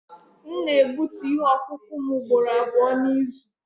M na-egbutu ihe ọkụkụ m ugboro abụọ n'izu.